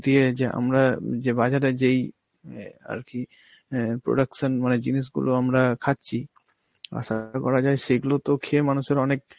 দিয়ে যে আমরা উম যে বাজারে যেই এ আর কি অ্যাঁ production মানে জিনিসগুলো আমরা খাচ্ছি, করা যায় সেগুলো তো খেয়ে মানুষের অনেক